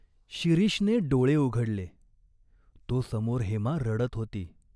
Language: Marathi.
शिरीषने डोळे उघडले, तो समोर हेमा रडत होती.